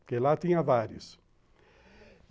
Porque lá tinha vários.